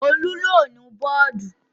Olú yóò nu bọ́ọ́dù.